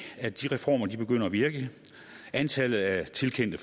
at de reformer begynder at virke antallet af tilkendte